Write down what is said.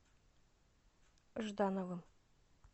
ждановым